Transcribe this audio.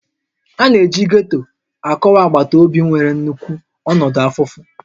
A na-eji Getto akọwa agbata obi nwere nnukwu ọnọdụ afụfụ